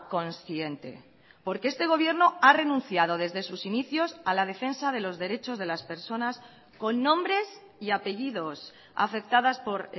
consciente porque este gobierno ha renunciado desde sus inicios a la defensa de los derechos de las personas con nombres y apellidos afectadas por